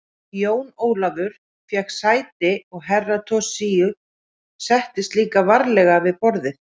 Jón Ólafur fékk sér sæti og Herra Toshizo settist líka varlega við borðið.